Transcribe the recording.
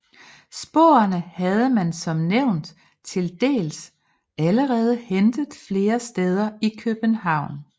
Sporene havde man som nævnt til dels allerede hentet flere steder i København